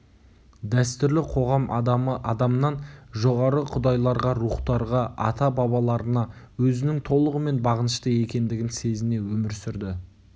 дәстүрлі қоғам адамы адамнан жоғары құдайларға рухтарға ата-бабаларына өзінің толығымен бағынышты екендігін сезіне өмір сүрді